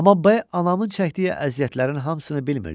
Amma B anamın çəkdiyi əziyyətlərin hamısını bilmirdi.